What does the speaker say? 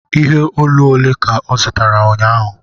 Ihe olu ole ka ọ zụtara ụnyahụ?